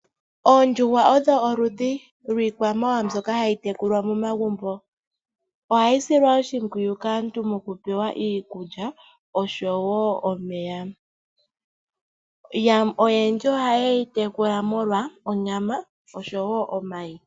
Oondjuhwa odho oludhi lwiikwamawawa mbyoka hayi tekulwa momagumbo. Ohayi silwa oshimpwiyu oku pewa iikulya osho woo omeya. Oyendji ohaye yi tekula molwa onyama osho woo omayi.